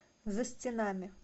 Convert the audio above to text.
за стенами